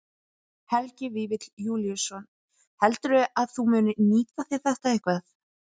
Helgi Vífill Júlíusson: Heldurðu að þú munir nýta þér þetta eitthvað?